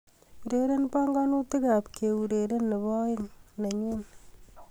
Ureren banganutik ab keureren nebo aeng nenyu